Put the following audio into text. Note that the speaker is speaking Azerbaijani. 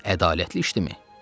Bu ədalətli işdimi?